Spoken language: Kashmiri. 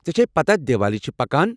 ژےٚ چھیہ پتاہ دیوالی چھِ پکان!